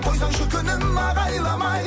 қойсаңшы күнім ағайламай